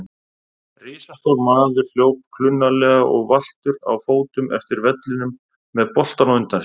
Risastór maður hljóp klunnalega og valtur á fótum eftir vellinum með boltann á undan sér.